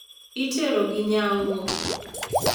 Iterogi nyango.